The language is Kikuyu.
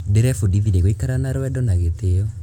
Ndĩrebundithirie gũikara na rwendo na gĩtĩo.